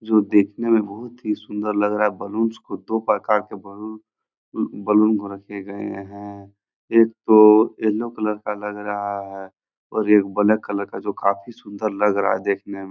जो देखने में बहोत ही सुंदर लग रहा है बलूंस को दो प्रकार के बैलून बैलून को रखे गए हैं एक तो येलो कलर का लग रहा है और एक ब्लैक कलर का जो काफी सुंदर लग रहा है देखने --